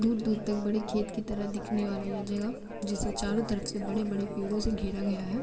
दूर-दूर तक बड़े खेत की तरह दिखने वाला ये जगह जिसे चारों तरफ से बड़े -ड़े पेड़ो से घेरा गया है।